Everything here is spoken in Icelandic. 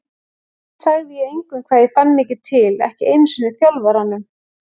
Samt sagði ég engum hvað ég fann mikið til, ekki einu sinni þjálfaranum.